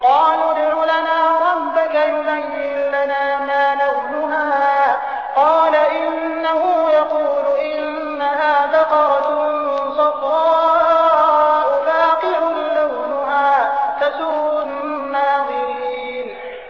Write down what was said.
قَالُوا ادْعُ لَنَا رَبَّكَ يُبَيِّن لَّنَا مَا لَوْنُهَا ۚ قَالَ إِنَّهُ يَقُولُ إِنَّهَا بَقَرَةٌ صَفْرَاءُ فَاقِعٌ لَّوْنُهَا تَسُرُّ النَّاظِرِينَ